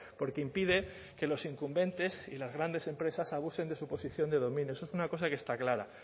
porque impide que los incumbentes y las grandes empresas abusen de su posición de dominio eso es una cosa que está clara